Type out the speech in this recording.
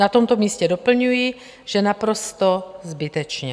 Na tomto místě doplňuji, že naprosto zbytečně.